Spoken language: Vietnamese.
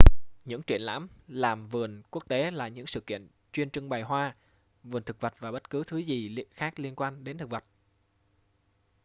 những triển lãm làm vườn quốc tế là những sự kiện chuyên trưng bày hoa vườn thực vật và bất cứ thứ gì khác liên quan đến thực vật